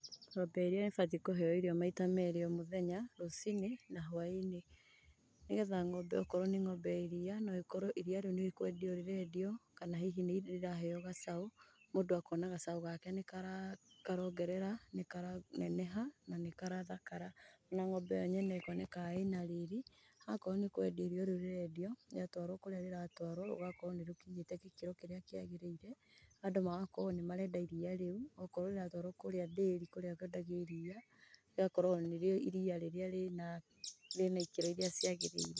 Ng'ombe ya iria nĩbatiĩ kũheo irio maita merĩ o mũthenya, rũci-Inĩ na hwa-inĩ, nĩgetha ng'ombe o korwo nĩ ng'ombe ya iria no ĩkorwo iria rĩu nĩ kwendio rĩrendio kana hihi nĩrĩraheo gacaũ, mũndũ akona gacaũ gake nĩkaraongerera, nĩkaraneneha na nĩkarathakara, na ng'ombe yo nyene ĩkoneka ĩna riri, akoro nĩkwendia iria rĩu rĩrendio rĩatwarwo kũrĩa rĩratwarwo, rĩgakorwo nĩ rĩkinyĩte gĩkĩro kĩrĩa kĩagĩrĩire, andũ magakorwo nĩ marenda iria rĩu, o korwo rĩratwarwo kũrĩa ndĩri kũrĩa kwendagio, iria rĩgakorwo nĩrĩo iria rĩrĩa rĩna ikĩro iria cĩagĩrĩĩre.